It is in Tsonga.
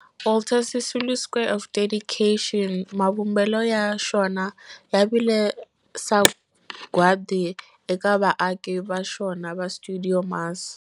Walter Sisulu Square of Dedication, mavumbelo ya xona ya vile sagwadi eka vaaki va xona va stuidio MAS.